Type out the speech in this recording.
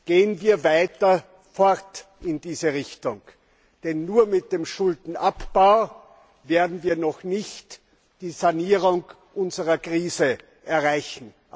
Gehen wir weiter fort in diese Richtung. Denn nur mit dem Schuldenabbau werden wir noch nicht die Sanierung unserer Krise erreichen.